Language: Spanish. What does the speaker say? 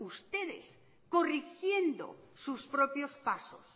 ustedes corrigiendo sus propios pasos